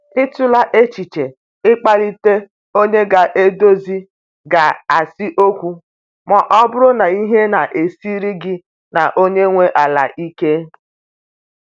Ị tụla echiche i kpalite onye ga edozi ga si okwu ma ọ bụrụ na ihe na-esiri gị na onye nwe ala ike?